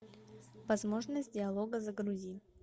возможность диалога загрузи